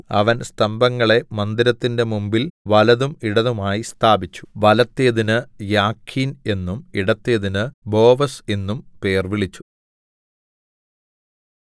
അവൻ സ്തംഭങ്ങളെ മന്ദിരത്തിന്റെ മുമ്പിൽ വലത്തും ഇടത്തുമായി സ്ഥാപിച്ചു വലത്തേതിന്നു യാഖീൻ എന്നും ഇടത്തേതിന്നു ബോവസ് എന്നും പേർവിളിച്ചു